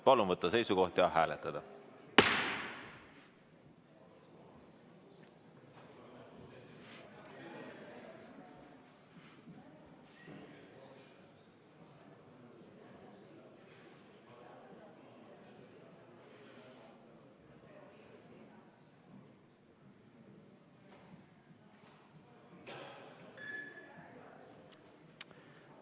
Palun võtta seisukoht ja hääletada!